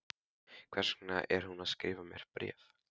Hvers vegna er hún að skrifa mér bréf?